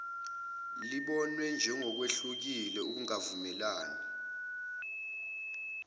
lubonwe njengolwehlukile ukungavumelani